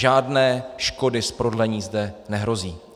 Žádné škody z prodlení zde nehrozí.